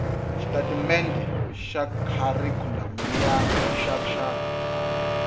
xitatimendhe xa kharikhulamu xa rixaka